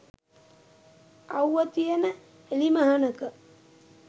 අව්ව තියෙන එලිමහනක